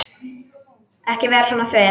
Ekki vera svona þver.